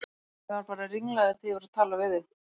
Ég var bara ringlaður þegar ég var að tala við þig.